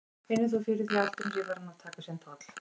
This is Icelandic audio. Finnur þú fyrir að aldurinn sé farinn að taka sinn toll?